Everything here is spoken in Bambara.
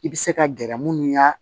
I bɛ se ka gɛrɛ munnu ya